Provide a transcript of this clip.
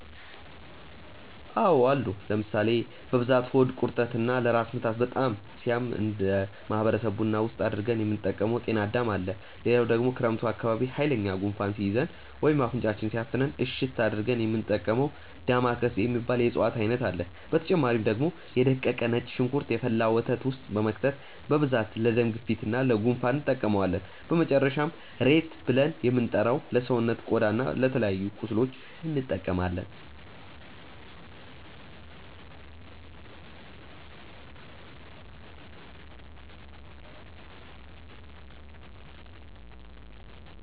አዎ አሉ ለምሳሌ፦ በብዛት ሆድ ቁርጠት እና ለራስ ምታት በጣም ሲያም እነደ ማህበረሰብ ቡና ውስጥ አድርገን የምንጠቀመው ጤናዳም አለ፣ ሌላው ደግሞ ክረምት አካባቢ ሃይለኛ ጉንፋን ሲይዘን ወይም አፍንጫችንን ሲያፍነን እሽት አድርገን የሚንጠቀመው ዳማከሴ የሚባል የእፅዋት አይነት አለ፣ በተጨማሪ ደግሞ የ ደቀቀ ነጭ ሽንኩርት የፈላ ወተት ውስጥ በመክተት በብዛት ለደም ግፊት እና ለ ጉንፋን እንጠቀመዋለን፣ በመጨረሻም ሬት ብልን የምንጠራው ለሰውነት ቆዳ እና ለተለያዩ ቁስሎች እንጠቀማለን።